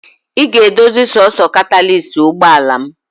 Ị ga-edozi sọọsọ katalist ụgbọala m!.